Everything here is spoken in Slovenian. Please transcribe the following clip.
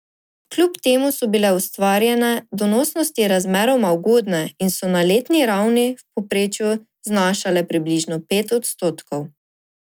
Kljub temu so bile ustvarjene donosnosti razmeroma ugodne in so na letni ravni v povprečju znašale približno pet odstotkov.